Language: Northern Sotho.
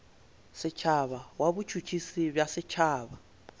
setšhaba wa botšhotšhisi bja setšhaba